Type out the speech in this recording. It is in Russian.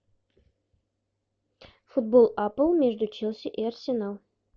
футбол апл между челси и арсенал